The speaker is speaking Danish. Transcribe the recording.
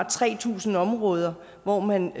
tre tusind områder hvor man